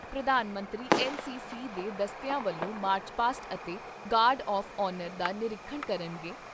ਪ੍ਰਧਾਨ ਮੰਤਰੀ ਐੱਨਸੀਸੀ ਦੇ ਦਸਤਿਆਂ ਵੱਲੋਂ ' ਮਾਰਚ ਪਾਸਟ ' ਅਤੇ ਗਾਡ ਆਫ਼ਆਨਰ ' ਦਾ ਨੀਰੀਖਣ ਕਰਨਗੇ।